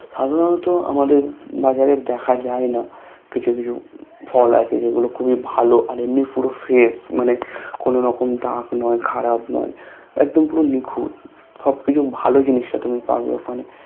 সাধারণত আমাদের বাজারে দেখা যায়না কিছু কিছু ফল আছে যেগুলো খুবই ভালো আর এমনি পুরো Fresh মানে কোনো রকম দাগ নয় খারাপ নয় একদম পুরো নিখুঁত সবকিছু ভালো জিনিসটা তুমি পাবে ওখানে